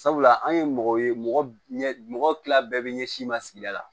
Sabula an ye mɔgɔ ye mɔgɔ ɲɛ mɔgɔ tila bɛɛ bɛ ɲɛsin ma sigida la